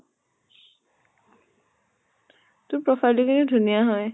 তোৰ profile টো কিন্তু ধুনীয়া হয়।